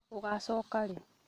Ũgacooka rĩ?